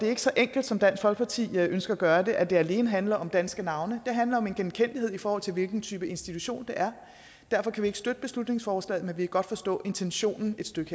er så enkelt som dansk folkeparti ønsker at gøre det altså at det alene handler om danske navne det handler om en genkendelighed i forhold til hvilken type institution det er derfor kan vi ikke støtte beslutningsforslaget men vi kan godt forstå intentionen et stykke